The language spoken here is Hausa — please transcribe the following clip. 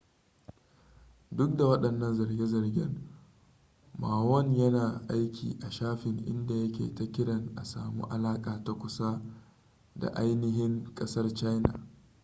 duk da wadannan zarge-zargen ma won yana aiki a shafin inda yake ta kiran a samu alaka ta kusa da ainihin kasar china